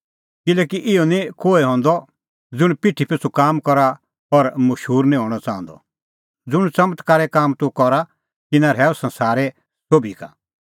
किल्हैकि इहअ निं कोहै हंदअ ज़ुंण पिठी पिछ़ू काम करा और मशूर निं हणअ च़ाहंदअ ज़ुंण च़मत्कारे काम तूह करा तिन्नां रहैऊ संसारै सोभी का